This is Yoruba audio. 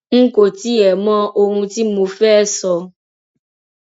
n kò tiẹ mọ ohun tí mo fẹẹ sọ